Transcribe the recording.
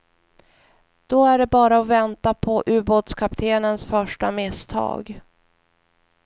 Då är det bara att vänta på ubåtskaptenens första misstag.